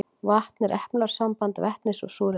Vatn er efnasamband vetnis og súrefnis.